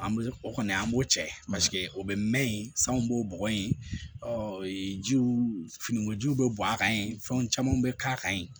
An bɛ o kɔni an b'o cɛ o bɛ mɛn yen sanw b'o bɔgɔ in jiw finikojiw bɛ bɔn a kan yen fɛn caman bɛ k'a kan yen